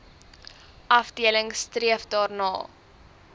afdeling streef daarna